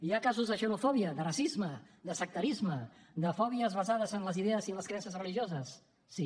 hi ha casos de xenofòbia de racisme de sectarisme de fòbies basades en les idees i en les creences religioses sí